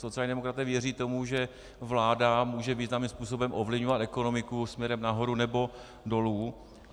Sociální demokraté věří tomu, že vláda může významným způsobem ovlivňovat ekonomiku směrem nahoru nebo dolů.